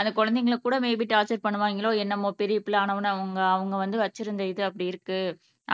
அந்த குழந்தைங்களுக்கு கூட மேபி டார்ச்சர் பண்ணுவாங்களோ என்னமோ பெரிய பிள்ளை ஆன உடனே அவங்க அவங்க வந்து வச்சுருந்த இது அப்படி இருக்கு